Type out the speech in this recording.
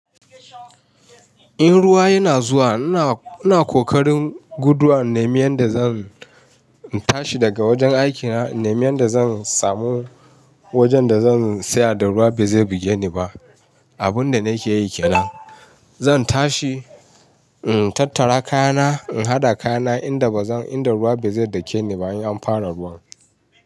In ruwa yana zuwa, ina, ina kokarin guduwa na nemi yadda zan tashi daga wajen aikina, na nemi yadda zan samu wajen da zan tsaya da ruwa ba zai buge ni ba. Abun da nake yi kenan, zan tashi in tattara kayana, in haɗa kayana inda bazan, inda ruwa ba zai dake ni ba in an fara ruwan.